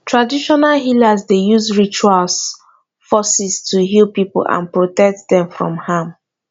traditional healers dey use rituals forces to heal people and protect dem from harm